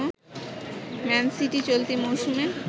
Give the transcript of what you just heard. man City চলতি মৌসুমে